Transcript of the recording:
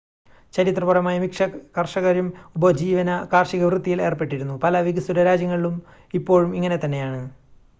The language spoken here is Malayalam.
ചരിത്രപരമായി മിക്ക കർഷകരും ഉപജീവന കാർഷികവൃത്തിയിൽ ഏർപ്പെട്ടിരുന്നു പല വികസ്വര രാജ്യങ്ങളിലും ഇപ്പോഴും ഇങ്ങനെ തന്നെയാണ്